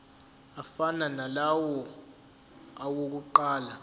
afana nalawo awokuqala